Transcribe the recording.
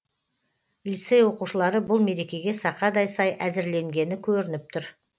лицей оқушылары бұл мерекеге сақадай сай әзірленгені көрініп тұр